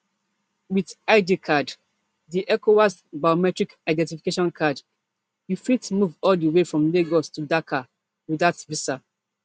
wit id card di ecowas biometric identification card you fit move all di way from lagos to dakar without visa